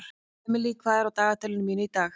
Emely, hvað er á dagatalinu mínu í dag?